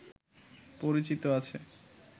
পরিচিত আছে